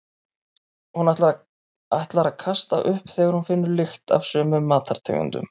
Hún ætlar að kasta upp þegar hún finnur lykt af sumum matartegundum.